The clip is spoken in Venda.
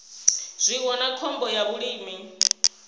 zwiwo na khombo ya vhulimi